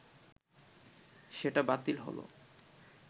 সেটা বাতিল হলো